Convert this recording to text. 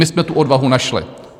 My jsme tu odvahu našli.